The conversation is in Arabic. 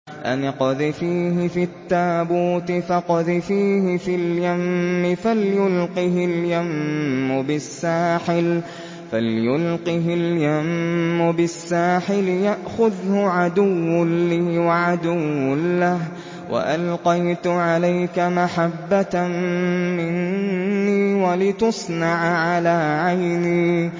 أَنِ اقْذِفِيهِ فِي التَّابُوتِ فَاقْذِفِيهِ فِي الْيَمِّ فَلْيُلْقِهِ الْيَمُّ بِالسَّاحِلِ يَأْخُذْهُ عَدُوٌّ لِّي وَعَدُوٌّ لَّهُ ۚ وَأَلْقَيْتُ عَلَيْكَ مَحَبَّةً مِّنِّي وَلِتُصْنَعَ عَلَىٰ عَيْنِي